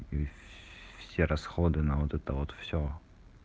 все расходы на вот это вот всё